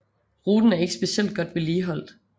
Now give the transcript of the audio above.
Ruten er ikke specielt godt vedligeholdt